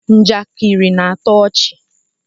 njakịrị na-atọ ọchị